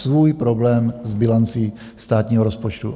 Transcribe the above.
Svůj problém s bilancí státního rozpočtu.